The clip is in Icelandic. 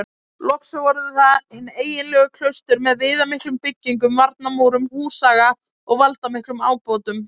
Loks voru það hin eiginlegu klaustur með viðamiklum byggingum, varnarmúrum, húsaga og valdamiklum ábótum.